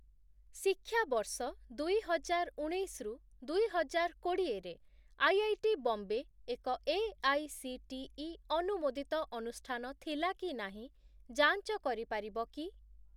ଶିକ୍ଷାବର୍ଷ ଦୁଇହଜାରଉଣେଇଶ ରୁ ଦୁଇହଜାରକୋଡି଼ଏ ରେ ଆଇ ଆଇ ଟି ବମ୍ବେ ଏକ ଏଆଇସିଟିଇ ଅନୁମୋଦିତ ଅନୁଷ୍ଠାନ ଥିଲା କି ନାହିଁ ଯାଞ୍ଚ କରିପାରିବ କି?